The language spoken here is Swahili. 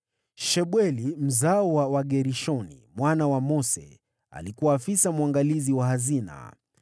Shebueli, mzao wa Gershomu mwana wa Mose, alikuwa afisa mwangalizi wa hazina.